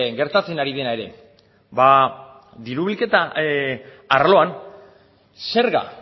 gertatzen ari dena ere ba diru bilketa arloan zerga